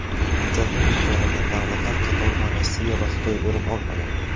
Hujjatni imzolagan davlatlar qatoridan Rossiya va Xitoy o‘rin olmagan.